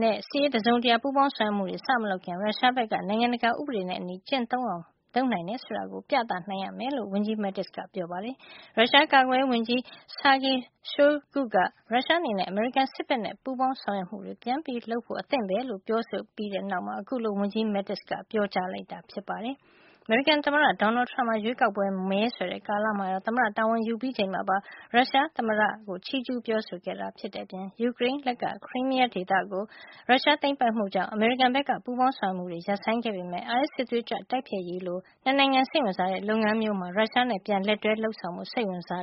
နဲ့ စစ်ရေးအရ တစုံတရာ ပူးပေါင်းဆောင်ရွက်မှုတွေ စမလုပ်ခင် ရုရှားဘက်က နိုင်ငံတကာ ဥပဒေနဲ့အညီ ကျင့်သုံးလုပ်ဆောင် နိုင်တယ် ဆိုတာကို ပြသနိုင်ရမယ်လို့ ဝန်ကြီး Mattis က ပြောပါတယ်။ ရုရှား ကာကွယ်ရေးဝန်ကြီး Sergei Shoigu က ရုရှားအနေနဲ့ အမေရိကန် စစ်ဘက်နဲ့ ပူးပေါင်းဆောင်ရွက်မှုတွေ ပြန်လုပ်ဖို့ အသင့်ပဲလို့ ပြောဆိုခဲ့ပြီး တဲ့နောက်မှာ အခုလို ဝန်ကြီး Mattis က ပြောကြားခဲ့တာပါ။ အမေရိကန် သမ္မတ Donald Trump ဟာ ရွေးကောက်ပွဲ မဲဆွယ်တဲ့ ကာလမှာရော သမ္မတတာဝန် ယူပြီးချိန်မှာပါ ရုရှားသမ္မတ Vladimir Putin ကို ချီးကျူးပြောဆိုခဲ့ပါတယ်။ ဒါ့အပြင် ယူကရိန်းလက်က Crimea ဒေသကို ရုရှားသိမ်းပိုက်မှုကြောင့် အမေရိကန်ဘက်က ပူးပေါင်း ဆောင်ရွက်မှုတွေ ရပ်ဆိုင်းခဲ့ပေမယ့် IS စစ်သွေးကြွ တိုက်ဖျက်ရေးလို ၂ နိုင်ငံ စိတ်ဝင်စားတဲ့ လုပ်ငန်းရပ်မျိုးမှာ ရုရှားနဲ့ ပြန်ပြီး လက်တွဲ လုပ်ဆောင်ဖို့ စိတ်ဝင်စား